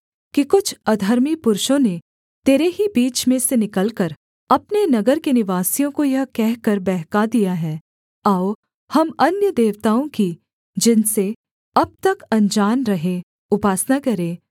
कि कुछ अधर्मी पुरुषों ने तेरे ही बीच में से निकलकर अपने नगर के निवासियों को यह कहकर बहका दिया है आओ हम अन्य देवताओं की जिनसे अब तक अनजान रहे उपासना करें